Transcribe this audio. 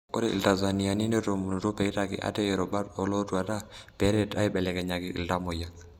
Ore ltanzaniani netomonutuo peitaki ate irubat olotwata peret aibelekenyaki iltamoyia.